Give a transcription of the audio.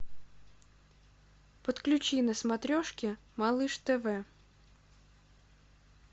подключи на смотрешке малыш тв